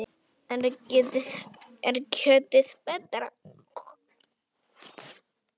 Er kjötið betra?